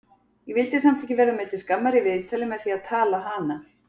Ég vildi samt ekki verða mér til skammar í viðtali með því að tala hana!